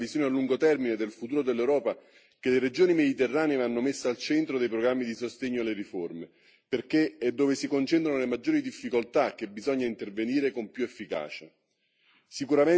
Ed è proprio per avere una visione a lungo termine del futuro dell'Europa che le regioni mediterranee vanno messe al centro dei programmi di sostegno alle riforme, perché è dove si concentrano le maggiori difficoltà che bisogna intervenire con più efficacia.